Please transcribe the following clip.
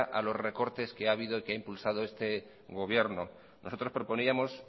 a los recortes que ha habido y que ha impulsado este gobierno nosotros proponíamos